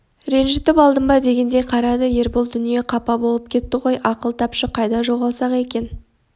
ренжітіп алдым ба дегендей қарады ербол дүние қапа болып кетті ғой ақыл тапшы қайда жоғалсақ екен